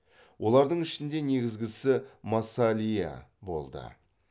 олардың ішінде негізгісі массалия болды